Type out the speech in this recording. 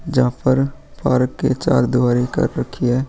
जहाँ पर पारक के चार दीवारी तक रखी है।